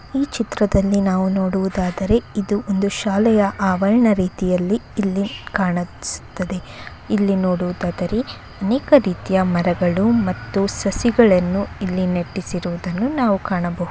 ಈ ಚಿತ್ರವು ನೋಡುವುದಾದರೆ ಇದು ಒಂದು ಶಾಲೆಯ ಅವರಣ ರೀತಿಯಲ್ಲಿ ಇಲ್ಲಿ ಕಾಣಿಸುತ್ತಿದೆ ಇಲ್ಲಿ ನೋಡುವುದಾದರೆ ಅನೇಕ ರೀತಿಯ ಮರಗಳು ಮತ್ತು ಸಸಿಗಳನ್ನು ಇಲ್ಲಿ ನೆಟ್ಟಿಸಿರುವದನ್ನ ನಾವು ಕಾಣಬಹುದು.